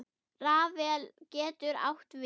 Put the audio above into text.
Rafael getur átt við